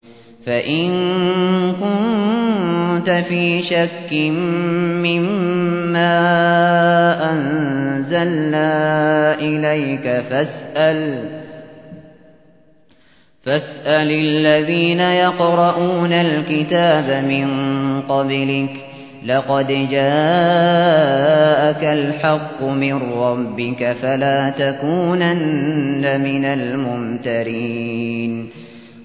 فَإِن كُنتَ فِي شَكٍّ مِّمَّا أَنزَلْنَا إِلَيْكَ فَاسْأَلِ الَّذِينَ يَقْرَءُونَ الْكِتَابَ مِن قَبْلِكَ ۚ لَقَدْ جَاءَكَ الْحَقُّ مِن رَّبِّكَ فَلَا تَكُونَنَّ مِنَ الْمُمْتَرِينَ